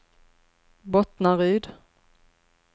Bottnaryd